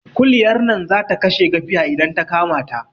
Kuliyar nan zata kashe gafiya idan ta kama